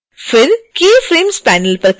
फिर keyframes panel पर click करें